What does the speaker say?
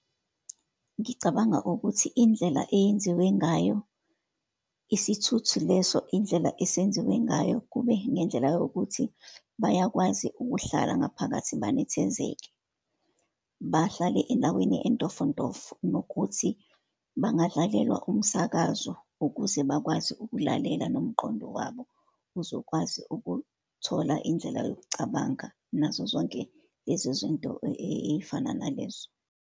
Ngicabanga ukuthi indlela eyenziwe ngayo isithuthu leso, indlela esenziwe ngayo kube nendlela yokuthi bayakwazi ukuhlala ngaphakathi benethezeke, bahlale endaweni entofontofo, nokuthi bangadlalelwa umsakazo ukuze bakwazi ukulalela, nomqondo wabo uzokwazi ukuthola indlela yokucabanga, nazo zonke lezo zinto ey'fana nalezo.